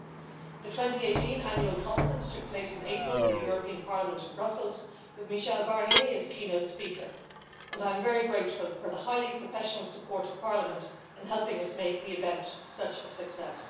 The 2018 annual conference took place in April in the European Parliament in Brussels, with Michel Barnier as keynote speaker, and I am very grateful for the highly professional support of Parliament in helping us make the event such a success.